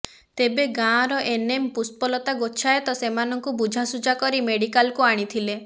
ତେବେ ଗାଁର ଏନ୍ଏମ୍ ପୁଷ୍ପଲତା ଗୋଚ୍ଛାୟତ ସେମାନଙ୍କୁ ବୁଝାସୁଝା କରି ମେଡିକାଲକୁ ଆଣିଥିଲେ